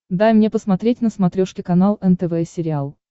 дай мне посмотреть на смотрешке канал нтв сериал